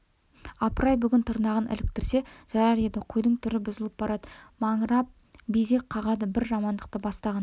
апырай бүгін тырнағын іліктірсе жарар еді қойдың түрі бұзылып барады маңырап безек қағады бір жамандықты бастағандай